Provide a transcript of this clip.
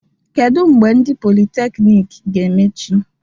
Kedu mgbe ndị politekniiki ga-emechi?